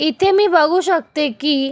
इथे मी बघू शकते कि--